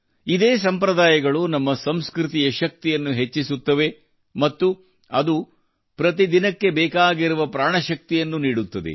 ಇದೇ ಸಂಪ್ರದಾಯಗಳು ನಮ್ಮ ಸಂಸ್ಕೃತಿಯ ಶಕ್ತಿಯನ್ನು ಹೆಚ್ಚಿಸುತ್ತದೆ ಮತ್ತು ಅದು ಪ್ರತಿದಿನಕ್ಕೆ ಬೇಕಾಗಿರುವ ಪ್ರಾಣಶಕ್ತಿಯನ್ನು ನೀಡುತ್ತದೆ